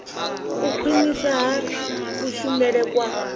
u khwinisa ha kushumele kwa